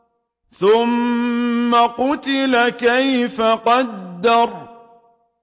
ثُمَّ قُتِلَ كَيْفَ قَدَّرَ